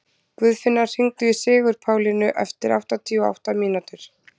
Guðfinna, hringdu í Sigurpálínu eftir áttatíu og átta mínútur.